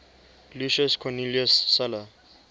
lucius cornelius sulla